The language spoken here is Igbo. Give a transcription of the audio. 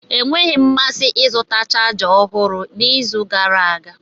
Enweghị m mmasị ịzụta chaja ọhụrụ n'izu gara aga.